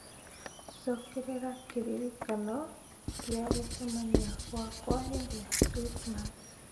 cokerera kĩririkano gĩa gũcemania gwakwa hĩndĩ ya Krismasi